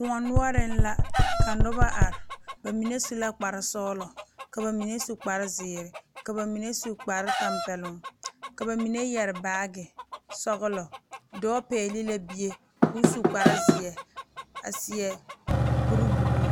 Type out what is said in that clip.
Kóɔ noɔreŋ la ka noba are ba mine su la kpar sɔgelɔ ka ba mine su kpar zeere ka na mine su kpar tɛmpɛloŋ ka ba mine yɛrɛ baagi sɔgelɔ dɔɔ pɛgele la bie ko o su kpar zeɛ a seɛ kuri buluu